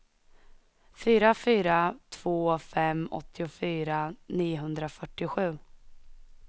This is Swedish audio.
fyra fyra två fem åttiofyra niohundrafyrtiosju